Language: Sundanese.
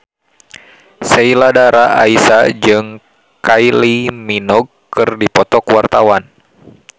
Sheila Dara Aisha jeung Kylie Minogue keur dipoto ku wartawan